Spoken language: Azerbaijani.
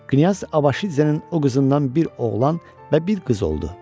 Knyaz Abaşidzenin o qızından bir oğlan və bir qız oldu.